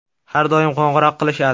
Har doim qo‘ng‘iroq qilishadi.